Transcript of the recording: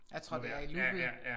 Jeg tror det er i loopet